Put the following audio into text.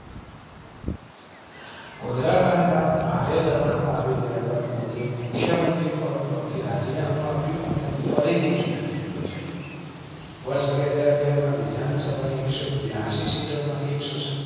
ગોધરાકાંડ બાદ ભારે દબાણ માં આવી ગયા બાદ મોદીએ મુખ્ય મંત્રી પદ પર થી રાજીનામું આપ્યું અને ફરી થી ચૂંટણી યોજાઈ વર્ષ બે હાજર બે માં વિધાનસભા ની એકસો બિયાંસી સીટો માંથી એકસો સત્યાવીસ